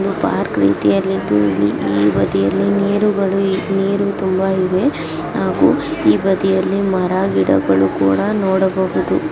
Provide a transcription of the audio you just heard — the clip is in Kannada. ಇದು ಪಾರ್ಕ್ ರೀತಿಯಲ್ಲಿ ಇದ್ದು ಈ ಬದಿಯಲ್ಲಿ ನೀರುಗಳು ನೀರು ತುಂಬಾ ಇವೆ ಆಗು ಈ ಬದಿಯಲ್ಲಿ ಮರ ಗಿಡಗಳು ಕೂಡ ನೋಡಬಹುದು .